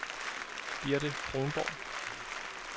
Birte Kronborg